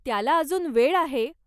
त्याला अजून वेळ आहे.